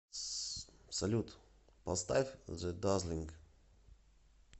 салют поставь зе дазлинг